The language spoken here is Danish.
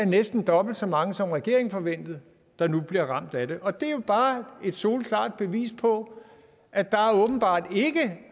næsten er dobbelt så mange som regeringen forventede der nu bliver ramt af det og det er jo bare et soleklart bevis på at der åbenbart ikke